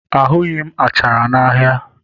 Ahụghị m achara n'ahịa